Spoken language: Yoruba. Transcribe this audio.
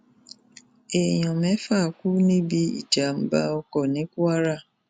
èèyàn mẹfà kú níbi ìjàmbá ọkọ ní kwara